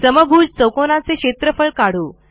समभुज चौकोनाचे क्षेत्रफळ काढू